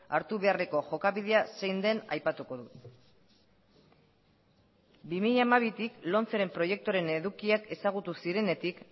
hartu beharreko jokabidea zein den aipatuko dut bi mila hamabitik lomceren proiektuaren edukiak ezagutu zirenetik